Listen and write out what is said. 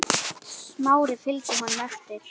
Smári fylgdi honum eftir.